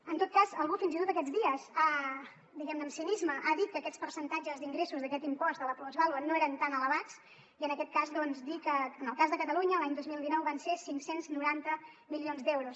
en tot cas algú fins i tot aquests dies diguem ne amb cinisme ha dit que aquests percentatges d’ingressos d’aquest impost de la plusvàlua no eren tan elevats i en aquest cas doncs dir que en el cas de catalunya l’any dos mil dinou van ser cinc cents i noranta milions d’euros